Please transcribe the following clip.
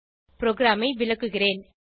ப்ரோகிராமை விளக்குகிறேன்